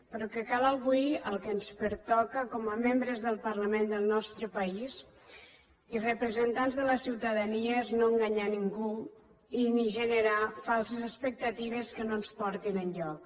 però el que cal avui el que ens pertoca com a membres del parlament del nostre país i representants de la ciutadania és no enganyar a ningú ni generar falses expectatives que no ens portin enlloc